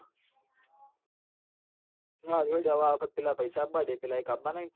હાલ જે દવા વખત પઇસા આ બા દે પેલા એક આબા નહિ ન